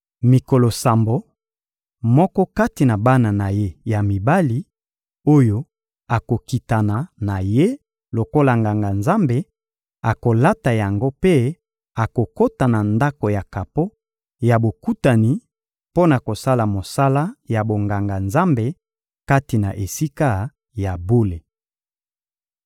Mikolo sambo, moko kati na bana na ye ya mibali oyo akokitana na ye lokola Nganga-Nzambe, akolata yango mpe akokota na Ndako ya kapo ya Bokutani mpo na kosala mosala ya bonganga-Nzambe kati na Esika ya bule.